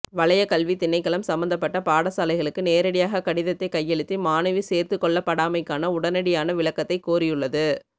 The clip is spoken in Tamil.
வலயக் கல்வித்திணைக்களம் சம்மந்தப்பட்ட பாடசாலைகளுக்கு நேரடியாக கடிதத்தை கையளித்து மாணவி சேர்த்துக்கொள்ளப்படாமைக்கான உடனடியான விளக்கத்தை கோரியுள்ளது